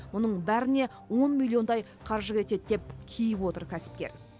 мұның бәріне он миллиондай қаржы кетеді деп кейіп отыр кәсіпкер